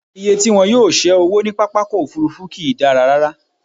Iye tí wọn yóò ṣé owó ní pápákọ̀-òfurufú kì í dára rárá.